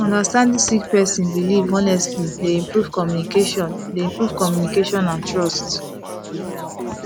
understanding sik person bilif honestly dey improve communication dey improve communication and trust